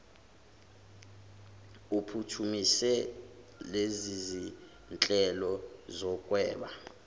uphuthumise lezizinhlelo zokunweba